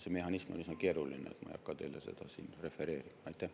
See mehhanism on üsna keeruline, ma ei hakka teile seda siin refereerima.